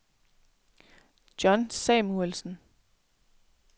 John Samuelsen